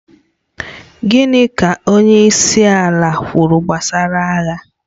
Gịnị ka onyeisiala kwuru gbasara agha?